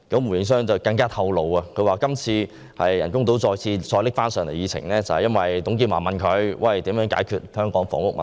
胡應湘更透露，今次人工島方案再次被提上議程，是由於董建華問他如何解決香港的房屋問題。